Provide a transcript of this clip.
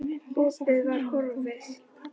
Opið var horfið.